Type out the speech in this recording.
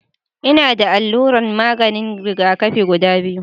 Ina da allunan maganin rigakafi guda biyu